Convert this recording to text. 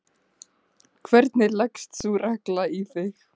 hvernig leggst sú regla í þig?